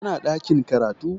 Yana ɗakin karatu